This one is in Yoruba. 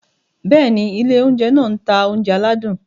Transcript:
Bẹ́ẹ̀ni, ilé oúnjẹ náà ń ta oúnjẹ aládùn.